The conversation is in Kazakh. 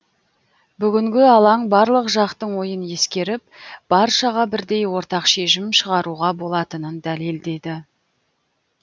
бүгінгі алаң барлық жақтың ойын ескеріп баршаға бірдей ортақ шешім шығаруға болатынын дәлелдеді